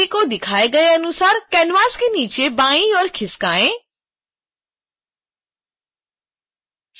cake छवि को दिखाए गए अनुसार canvas के नीचे बाईं ओर खिसकाएँ